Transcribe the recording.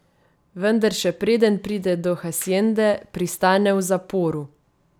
Vendar še preden pride do haciende, pristane v zaporu.